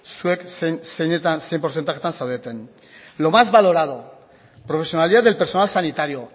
zuek zein portzentajetan zaudeten lo más valorado profesionalidad del personal sanitario